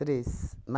Três.